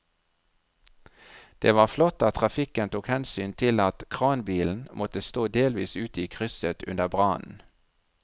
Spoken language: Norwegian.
Det var flott at trafikken tok hensyn til at kranbilen måtte stå delvis ute i krysset under brannen.